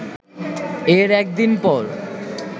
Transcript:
এর একদিন পর